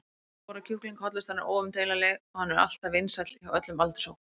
allir borða kjúkling, hollustan er óumdeilanleg og hann er alltaf vinsæll hjá öllum aldurshópum.